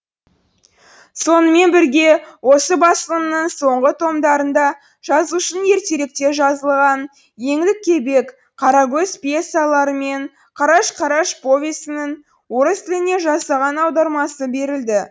сонымен бірге осы басылымның соңғы томдарында жазушының ертеректе жазылған еңлік кебек қарагөз пьесалары мен қараш қараш повесінің орыс тіліне жасаған аудармасы берілді